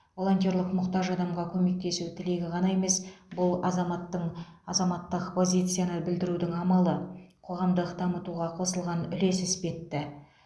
волонтерлік мұқтаж адамға көмектесу тілегі ғана емес бұл азаматтың азаматтық позицияны білдірудің амалы қоғамдық дамытуға қосылған үлес іспетті